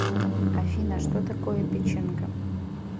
афина что такое печенга